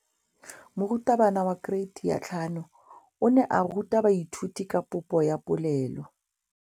Moratabana wa kereiti ya 5 o ne a ruta baithuti ka popô ya polelô.